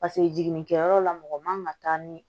Paseke jiginnikɛyɔrɔ la mɔgɔ man taa ni